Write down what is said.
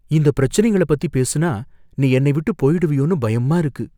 இந்த பிரச்சனைங்கள பத்தி பேசுனா நீ என்னை விட்டு போயிடுவியோன்னு பயமா இருக்கு.